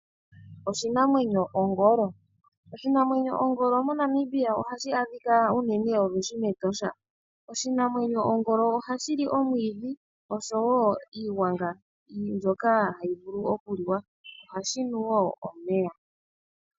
Oshinamwenyo ongolo. Ongolo moNamibia ohayi adhika olwindji mEtosha. Oshinamwenyo shoka ongolo ohashi li omwiidhi oshowo iiwanga mbyoka hayi vulu okuliwa. Ohashi nu wo omeya.